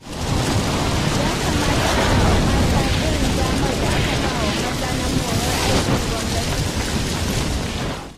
Ya kamata a bawa mata irin damar da aka ba wa maza na morar aikin gwamnati